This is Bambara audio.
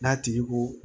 N'a tigi ko